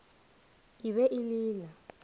e be e le la